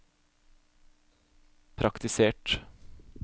praktisert